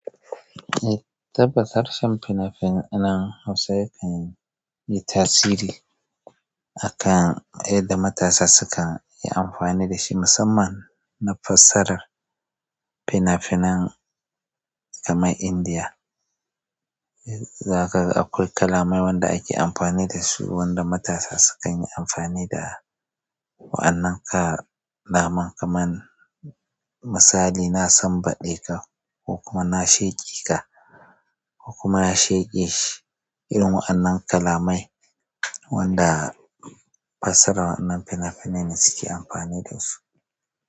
Tabbatar shan fina-finan Hausa yakan yi tasiri a kan yadda matasa sukan yi amfani da shi, musamman na fassarar fina-finan kamar Indiya. Zaka ga akwai kalamai wanda ake amfani da su, wanda matasa sukan yi amfani da wa'annan kalaman kamar misali, na sanbade ka ko kuma na sheke ka ko kuma ya sheke shi. Irin wa'annan kalamai wanda fassarar wannan fina-finai ne suke amfani da su.